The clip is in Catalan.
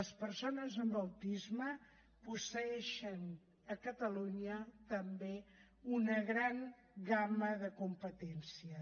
les persones amb autisme posseeixen a catalunya també una gran gamma de competències